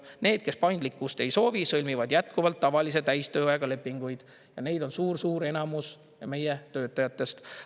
Need, kes paindlikkust ei soovi, sõlmivad jätkuvalt tavalise täistööajaga lepinguid, ja neid on suur-suur enamus meie töötajatest.